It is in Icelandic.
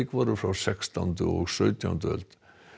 voru frá sextándu og sautjándu öld